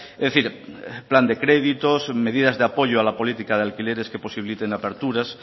es decir plan de créditos medidas de apoyo a la política de alquileres que posibiliten aperturas